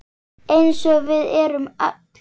Eins og við erum öll.